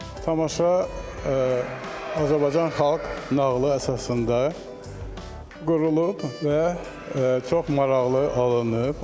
Tamaşa Azərbaycan xalq nağılı əsasında qurulub və çox maraqlı alınıb.